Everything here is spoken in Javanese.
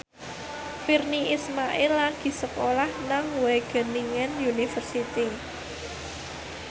Virnie Ismail lagi sekolah nang Wageningen University